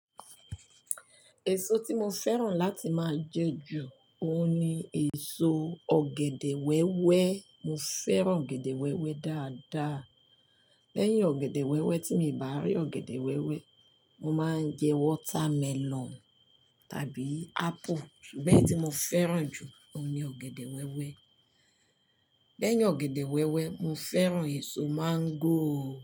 Èso tí mo fẹ́ràn láti máa jẹ ju òun ni èso ọ̀gẹ̀dẹ̀ wẹ́wẹ́. Mo fẹ́ràn ọ̀gẹ̀dẹ̀ wẹ́wẹ́ dáadáa. Lẹ́yìn ọ̀gẹ̀dẹ̀ wẹ́wẹ́ tí mi ò bá rí ọ̀gẹ̀dẹ̀ wẹ́wẹ́, mo máa ń jẹ watermelon tàbí apple. Ṣùgbọ́n èyí tí mo fẹ́ràn jù òun ni ọ̀gẹ̀dẹ̀ wẹ́wẹ́. Lẹ́yìn ọ̀gẹ̀dẹ̀ wẹ́wẹ́, mo fẹ́ràn èso máńgò.